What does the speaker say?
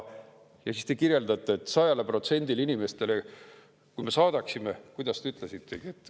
Ja siis te kirjeldate, et kui me saadaksime 100%-le inimestele, kuidas te ütlesitegi …